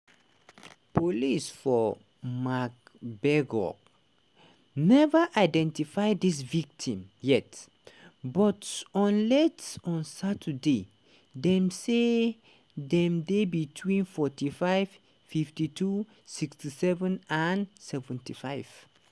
police for magdeburg neva identify di victims yet but on late on saturday dem say dem dey between 45 52 67 and 75.